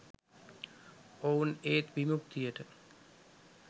ඔවුන් ඒ විමුක්තියට